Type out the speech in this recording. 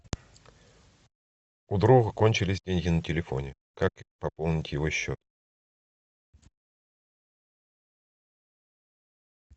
у друга кончились деньги на телефоне как пополнить его счет